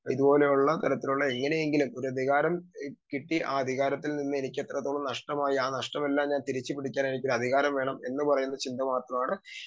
speaker 2 ഇതുപോലെയുള്ള തരത്തിലുള്ള എങ്ങനെയെങ്കിലും അതികാരം കിട്ടി ആ അധികാരത്തിൽ ഇന്ന് എനിക്ക് എത്രത്തോളം നഷ്ടമായി ആ നഷ്ടം എല്ലാം തിരിച്ചു പിടിക്കാൻ ആയിട്ട് അധികാരം വേണമെന്ന ചിന്ത മാത്രമാണ്